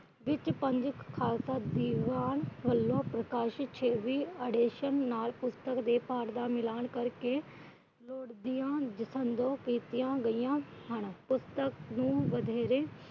ਵਿਚ ਖਾਲਸਾ ਦੀਵਾਨ ਹੋਇਆ ਪ੍ਰਕਾਸ਼ਿਤ ਪੁਸਤਕ ਦੇ ਪਾਠ ਦਾ ਮਿਲਣ ਕਰਕੇ